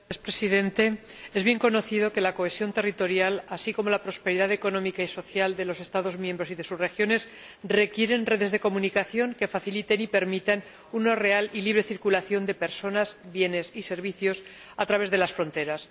Señor Presidente, es bien conocido que la cohesión territorial, así como la prosperidad económica y social de los Estados miembros y de sus regiones, requieren redes de comunicación que faciliten y permitan una real y libre circulación de personas, bienes y servicios a través de las fronteras